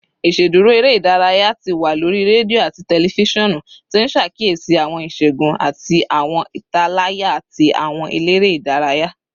Iṣeduro ere-idaraya ti wa lori redio ati tẹlifisiọnu, ti n ṣakiyesi awọn iṣẹgun ati awọn italaya ti awọn elere idaraya